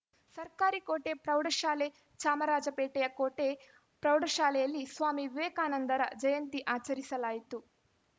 ಸರ್ಕಾರಿ ಕೋಟೆ ಪ್ರೌಢಶಾಲೆ ಚಾಮರಾಜಪೇಟೆಯ ಕೋಟೆ ಪ್ರೌಢಶಾಲೆಯಲ್ಲಿ ಸ್ವಾಮಿ ವಿವೇಕಾನಂದರ ಜಯಂತಿ ಆಚರಿಸಲಾಯಿತು